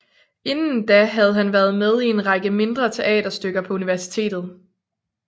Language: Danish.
Inden da havde han været med i en række mindre teaterstykker på universitetet